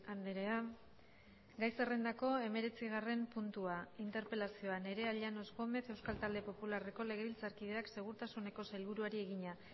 andrea gai zerrendako hemeretzigarren puntua interpelazioa nerea llanos gómez euskal talde popularreko legebiltzarkideak segurtasuneko sailburuari egina